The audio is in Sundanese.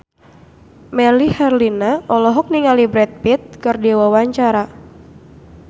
Melly Herlina olohok ningali Brad Pitt keur diwawancara